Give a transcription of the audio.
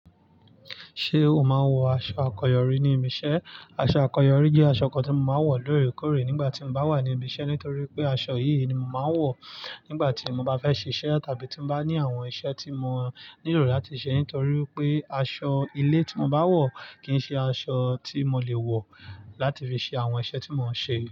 Ṣé o máa ń wọ aṣọ àkọyọrí ní ibi iṣẹ́? Aṣọ àkọyọrí jẹ́ aṣọ kan tí mo máa ń wọ lóòrèkóòrè nígbà tí mo bá wà ní ibi iṣẹ́ nítorí pé aṣọ yìí ni mo máa ń wọ̀ nígbà tí mo bá fẹ́ ṣe iṣẹ́ tàbí tí mo bá ní àwọn iṣẹ́ tí mo nílò láti ṣe nítorí pé aṣọ ilé tí mo bá wọ̀ kì í ṣe aṣọ tí mo lè wọ̀ láti fi ṣe àwọn iṣẹ́ tí mò ń ṣe.